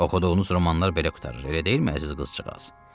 Oxuduğunuz romanlar belə qurtarır, elə deyilmi, əziz qızcığaz?